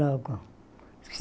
Logo.